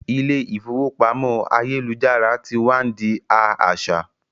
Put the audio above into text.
Ilé ìfowópamọ́ ayélujára tí wá n di a aṣa